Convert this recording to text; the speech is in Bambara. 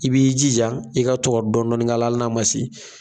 I b'i jija i ka to ka dɔɔni k'ala hali n'a ma se